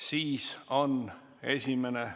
Ma ei näe seda soovi, järelikult on esimene lugemine lõpetatud.